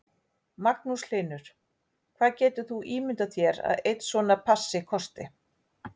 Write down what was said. Magnús Hlynur: Hvað getur þú ímyndað þér að einn svona passi kosti?